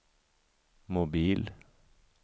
mobil